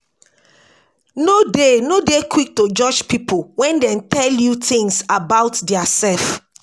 No dey No dey quick to judge pipo when dem dey tell you things about their self